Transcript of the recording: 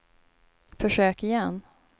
försök igen